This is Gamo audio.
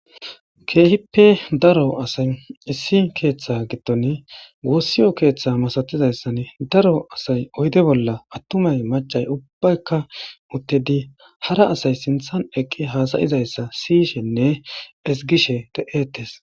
keehippe daro asay issi keeththe gitton wossiyo keeththa masatizayssan daro asay oyde bolla attumay macay ubbaykka uttedi hara asay sinthan eqqi haasayizayssa siyishenne esgishe de7etes